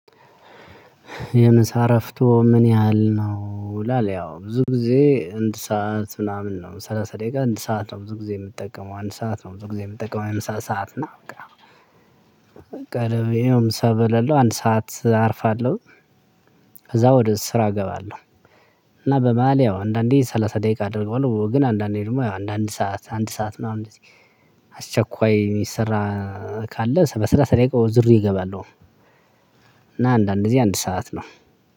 "የምሳ እረፍቶ ምን ያህል ነው ይላል?" ያው ብዙ ጊዜ እንድ ሰዓት ምናምን ነው። ሰላሳ ደቂቃ አንድ ሰዓት ነው ብዙ ጊዜ የምጠቀመው አንድ ሰዓት ነው ብዙ ጊዜ የምጠቀመው የምሳ ሰዓት። እና በቃ ያው ምሳ በላለው አንድ ሰዓት አርፋለሁ ከዛ ወደ ስራ እገባለሁ። በመሃል ያው አንዳንዴ ሰላሳ ደቂቃ አድርገዋለሁ፤ ግን አንዳንዴ ደግሞ ያው አንዳንድ ሰዓት አንድ ሰዓት ምናምን እንደዚህ አስቸኳይ የሚሰራ ስራ ካለ በሰላሳ ደቂቃ ዙሬ እገባለሁ። እና አንዳንድ ጊዜ አንድ ሰዓት ነው።